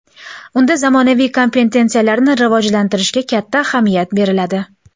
Unda zamonaviy kompetensiyalarni rivojlantirishga katta ahamiyat beriladi.